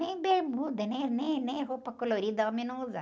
Nem bermuda, nem, nem, nem roupa colorida homem não usava.